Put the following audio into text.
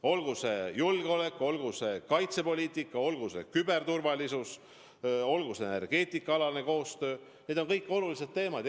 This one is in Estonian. Olgu see julgeolek, olgu see kaitsepoliitika, olgu see küberturvalisus, olgu see energeetikaalane koostöö – need kõik on olulised teemad.